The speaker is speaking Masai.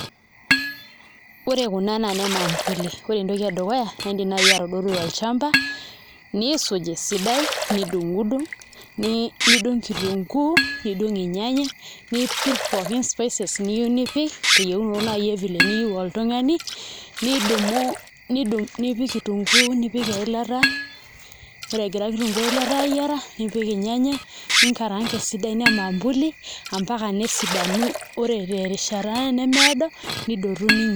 Ore kuna naa nemampuli ore entoki edukuya niidim naai atodotu tolchamba niisuj esidai nidung'undung' nidung' kitunguu nidung' ilnyanya nitum pooki spices niyieu nipik teyieunoto naa vile niyieu oltung'ani nipik kitunguu nipik eilata ore egira kitunguu o eilata aayiara nipik ilnyanya ninkaranka esidai nemampuli ompaka nesidanu ore terishat nemeedo nidotu ninya.